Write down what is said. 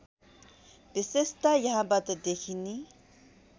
विशेषता यहाँबाट देखिने